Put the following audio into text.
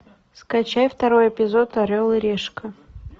скачай второй эпизод орел и решка